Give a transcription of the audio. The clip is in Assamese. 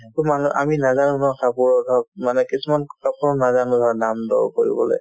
আমি নাজানো ন কাপোৰত হওক মানে কিছুমান কাপোৰত নাজানো দামদৰ কৰিবলে